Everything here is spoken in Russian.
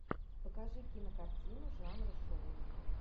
покажи кинокартину жанра шоу